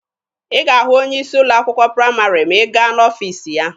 Ị ga-ahụ onye isi ụlọ akwụkwọ praịmarị ma ị gaa n'ọfiisi ya.